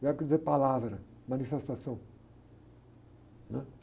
Verbo quer dizer palavra, manifestação, né?